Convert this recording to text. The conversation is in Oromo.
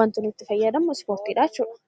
wanti nuti fayyadamnu Ispoortii dha jechuu dha.